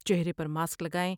چہرے پر ماسک لگائیں ۔